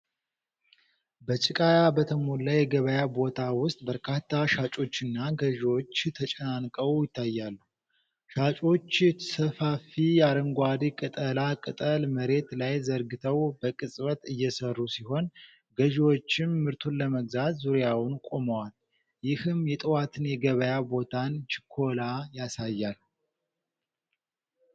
በጭቃ በተሞላ የገበያ ቦታ ውስጥ በርካታ ሻጮችና ገዥዎች ተጨናንቀው ይታያሉ። ሻጮች ሰፋፊ አረንጓዴ ቅጠላ ቅጠል መሬት ላይ ዘርግተው በቅጽበት እየሠሩ ሲሆን፣ ገዢዎችም ምርቱን ለመግዛት ዙሪያውን ቆመዋል። ይህም የጠዋት የገበያ ቦታን ችኮላ ያሳያል።